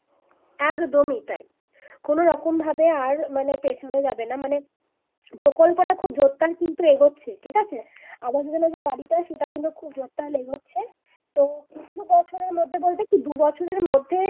একদমই তাই কোন রকম ভাবে আর মানে পেছনে যাবে না মানে প্রকল্পটা খুব জোর তার কিন্তু এগোচ্ছে ঠিক আছে আবাস যোজনার যে বাড়িটা সেটা কিন্তু খুব জোরদার এগোচ্ছে তো কিছু বছরের মধ্যে বলতে বলতে দু বছরের মধ্যে